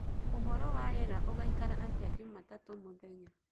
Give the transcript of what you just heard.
uhoro wa rĩera ugaikara atĩa jumatatũ mũthenya